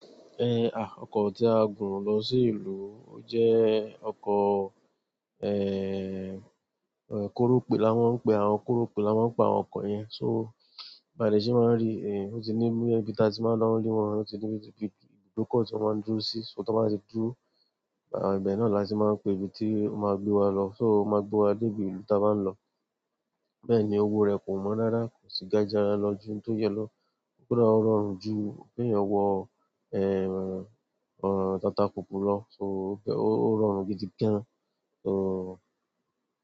Eh, à, ọkọ̀ tí a gùn lọ sí ìlú o jẹ́ ọkọ̀, koròpè lá mọ́ ń pè, àwọn koròpè lá mo ń pe àwọn ọkọ̀ yẹn. So, bàa de ṣé máa ń rí, ó ti ní mú ibí taa tí máa ń dáná lé wọn, ó ti ní ibùdókọ̀ tí wọ́n máa ń dúró sí, so tí wọ́n bá ti dúró, ibẹ̀ náà la ti máa ń pè ibi tí ó máa gbé wa lọ. So ó máa gbé wa dé ibi ìlú tí a bá ń lọ. Bẹ́ẹ̀ ni owó rẹ̀ kò wọ́n rara, kò sì ga jára lọ ju n tó yẹ lọ. Kódà ó rọrùn ju, ki eeyan wo tatapúpu lọ, so ó rọrùn gidi gan. So.